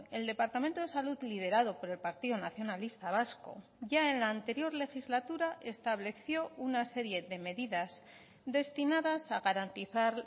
el departamento de salud liderado por el partido nacionalista vasco ya en la anterior legislatura estableció una serie de medidas destinadas a garantizar